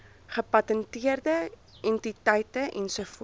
gepatenteerde entiteite ens